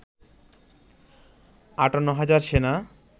৫৮ হাজার সেনা